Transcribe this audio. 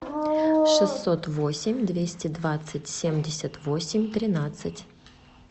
шестьсот восемь двести двадцать семьдесят восемь тринадцать